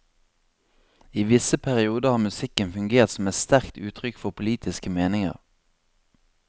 I visse perioder har musikken fungert som et sterkt uttrykk for politiske meninger.